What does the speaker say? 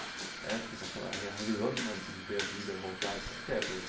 Essa sensação, a re a revisão de uma de ver a vida voltar, o que que é para você?